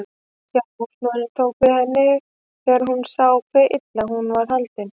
Sjálf húsmóðirin tók við henni þegar hún sá hve illa hún var haldin.